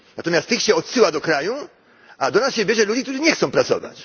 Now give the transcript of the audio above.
Natomiast tych się odsyła do kraju, a do nas bierze się ludzi, którzy nie chcą pracować.